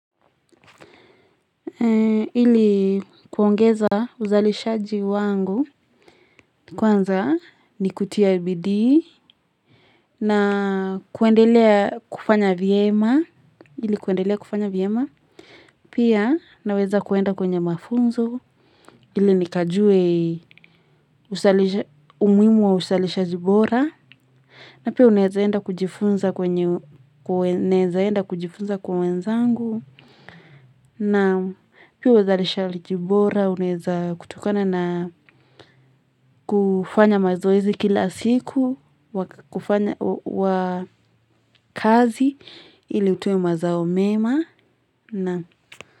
Ili kuongeza uzalishaji wangu kwanza ni kutia bidii na kuendelea kufanya vyema pia naweza kuenda kwenye mafunzo ili nikajue umuhimu wa uzalishaji bora na pia unaeza enda kujifunza kwenye kuwezaenda kujifunza kwa wenzangu. Na pia uzalishaji bora, unaeza kutokana na kufanya mazoezi kila siku, kufanya wakaazi ili utuwe mazao mema.